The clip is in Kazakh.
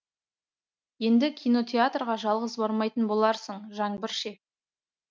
енді кинотеатрға жалғыз бармайтын боларсың жаңбыр ше